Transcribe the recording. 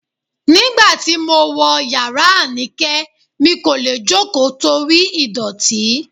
Nígbà tí mo wọ̀ yàrá Anike, mi kò lè jókòó torí ìdọ̀tí